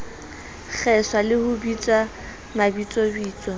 kgeswa le ho bitswa mabitsobitso